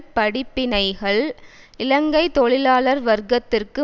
படிப்பினைகள் இலங்கை தொழிலாளர் வர்க்கத்திற்கு